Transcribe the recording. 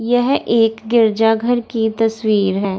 यह एक गिरजाघर की तस्वीर है।